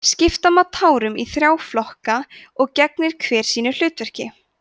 skipta má tárum í þrjá flokka og gegnir hver sínu hlutverki